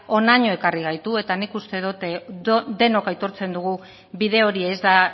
honaino ekarri gaitu eta nik uste dut denok aitortzen dugu bide hori ez da